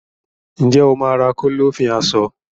Ǹjẹ́ o máà ra Kọ́lọ́fín aṣọ?